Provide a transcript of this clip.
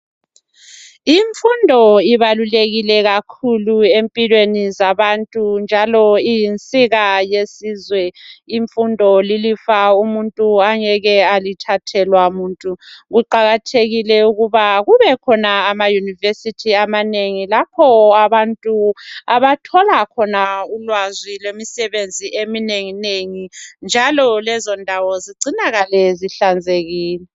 Imfundo ibalulekile kakhulu empilweni zabantu ngoba iyinsika yesizwe umfundo lilifa umuntu angeke alithathelwa kuqakathekile ukuthi kube khona ama University amanengi lapha abantu abathola khona ulwazi lwemisebenzi eminengi nengi nalo lezaindawo zicinakale zihlanzenkile